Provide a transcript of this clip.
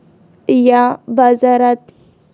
या बाजारात.